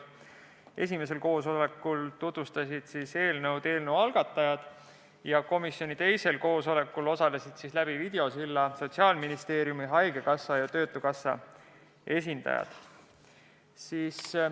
Esimesel koosolekul tutvustasid algatajad eelnõu, komisjoni teisel koosolekul aga osalesid videosilla kaudu Sotsiaalministeeriumi, haigekassa ja töötukassa esindajad.